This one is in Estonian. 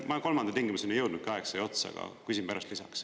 Ma kolmanda tingimuseni ei jõudnud, aeg sai otsa, aga küsin pärast lisaks.